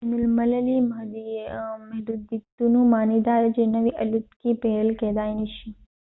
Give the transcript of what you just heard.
د بین المللي محدودیتونو معنی داده چې نوې الوتکې پیرل کیدای نشي